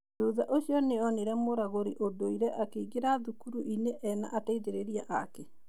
Thutha ũcio nĩonĩre mũragũrĩ ũndũire akĩingĩra thukurũinĩ ena ateithĩrĩria ake.